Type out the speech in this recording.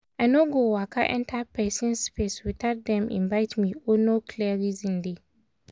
i no go waka enter person space without dem invite me or no clear reason dey.